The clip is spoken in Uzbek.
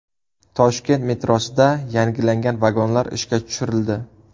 Toshkent metrosida yangilangan vagonlar ishga tushirildi.